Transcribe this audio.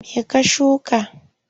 Me ka shuka?